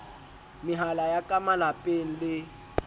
mehala ya ka malapeng le